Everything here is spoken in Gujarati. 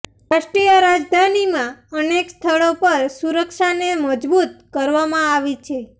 રાષ્ટ્રીય રાજધાનીમાં અનેક સ્થળો પર સુરક્ષાને મજબૂત કરવામાં આવી છે